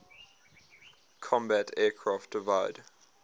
combat aircraft divide